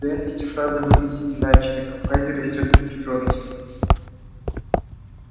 в реальности фраза выглядит иначе на кавказе растёт напряжённость